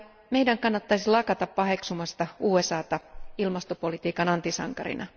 Meidän kannattaisi lakata paheksumasta USAta ilmastopolitiikan antisankarina.